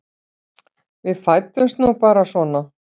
Við fæddumst nú bara svona.